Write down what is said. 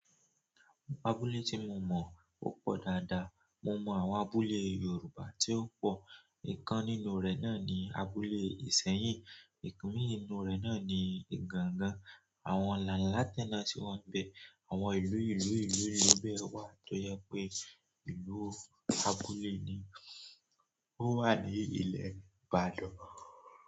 Abúlé tí mo mọ̀ ó pọ̀ dáadáa. Mo mọ àwọn abúlé Yorùbá tí ó pọ̀. Ìkan nínú rẹ̀ náà ni abúlé Ìsẹ́yìn, omii nínú rẹ̀ náà ni igangan. Àwọn làálàátẹ́ náà si wa ń bẹ, àwọn ìlú, ìlú, ìlú bẹ́ẹ̀ wá tó jẹ pé ìlú abúlé ni. Ó wà ní ilẹ̀ Ìbàdàn.